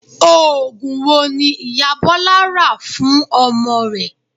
Oògùn wo ni ìyá Bọ́lá rà fún ọmọ rẹ̀?